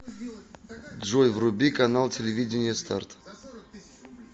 джой вруби канал телевидения старт